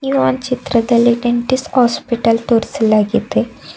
ಇದು ಒಂದು ಚಿತ್ರದಲ್ಲಿ ಡೆಂಟಿಸ್ಟ್ ಹಾಸ್ಪಿಟಲ್ ತೋರಿಸಲಾಗಿದೆ.